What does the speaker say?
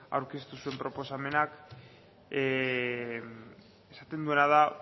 aurkeztu zuen proposamenak esaten duena da